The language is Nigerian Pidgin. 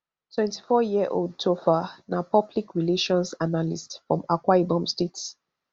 twenty-fouryearold topher na public relations analyst from akwa ibom state